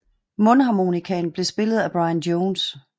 Mundharmonikaen blev spillet af Brian Jones